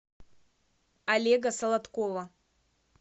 олега солодкова